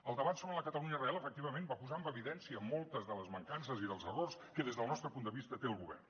el debat sobre la catalunya real efectivament va posar en evidència moltes de les mancances i dels errors que des del nostre punt de vista té el govern